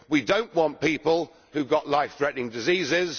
We do not want people who have got life threatening diseases.